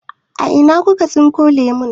A ina kuka tsinko lemu?